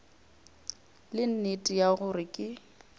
le nnete ya gore ke